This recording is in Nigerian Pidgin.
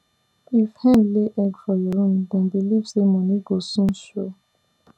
if hen lay egg for your room dem believe say money go soon show